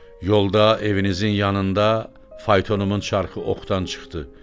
Yolda evinizin yanında faytonumun çarxı oxtan çıxdı.